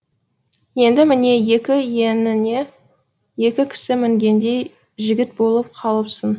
енді міне екі иініңе екі кісі мінгендей жігіт болып қалыпсың